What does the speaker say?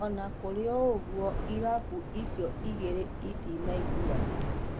Onakũrĩoũguo irabu icio igĩrĩ itinaiguanĩra.